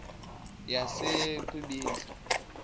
yasekwindla